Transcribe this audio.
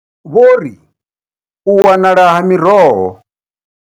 Vho ri, U wanala ha miroho.